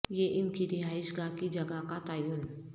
یہ ان کی رہائش گاہ کی جگہ کا تعین